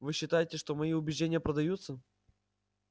вы считаете что мои убеждения продаются